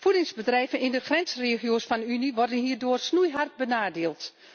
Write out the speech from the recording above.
Voedingsbedrijven in de grensregio's van de Unie worden hierdoor snoeihard benadeeld.